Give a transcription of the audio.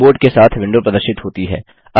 keyboard के साथ window प्रदर्शित होती है